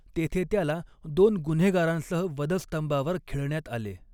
तेथे त्याला दोन गुन्हेगारांसह वधस्तंभावर खिळण्यात आले.